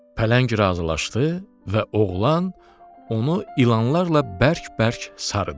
Pələng razılaşdı və oğlan onu ilanlarla bərk-bərk sarıdı.